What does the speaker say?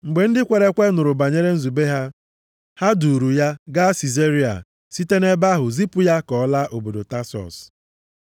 Mgbe ndị kwere ekwe nụrụ banyere nzube ha, ha duuru ya gaa Sizaria site nʼebe ahụ zipụ ya ka ọ laa obodo Tasọs.